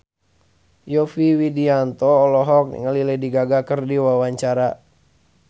Yovie Widianto olohok ningali Lady Gaga keur diwawancara